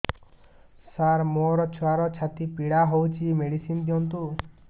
ସାର ମୋର ଛୁଆର ଛାତି ପୀଡା ହଉଚି ମେଡିସିନ ଦିଅନ୍ତୁ